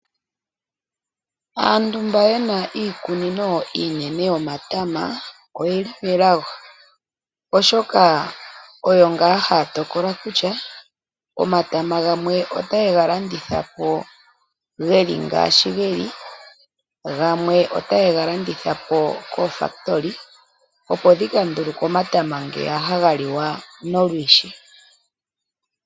Aantu mba yena iikunino iinene yomatama oyeli melago oshoka oyo ngaa haya tokola kutya omatama gamwe otaye galanditha po ngaashi geli, gamwe otaye galanditha po koofakitoli opo dhikanduluke omatama ngeya haga liwa nolwiishi.